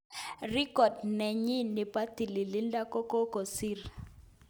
Record nenyin nebo tililido kokokisir.